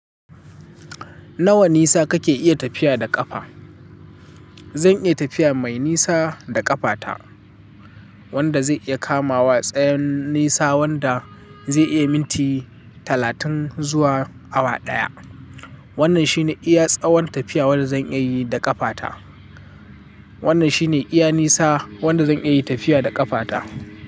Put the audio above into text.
Nawa nisa kake iya tafiya da ƙafa? Zan iya tafiya mai nisa da ƙafata, wanda zai iya kamawa tsayin nisa wanda zai iya minti talatin zuwa awa ɗaya. Wannan shine iya tsawon tafiya wanda zan iya yi da ƙafata. Wannan shine iya nisa wanda zan iya tafiya da ƙafata.